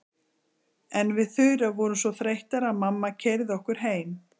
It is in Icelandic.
En við Þura vorum svo þreyttar að mamma keyrði okkur heim.